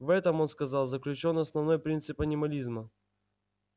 в этом он сказал заключён основной принцип анимализма